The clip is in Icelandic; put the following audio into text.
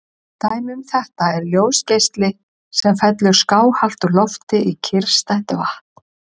Dæmi um þetta er ljósgeisli sem fellur skáhallt úr lofti í kyrrstætt vatn.